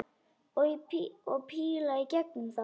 Og píla í gegnum það!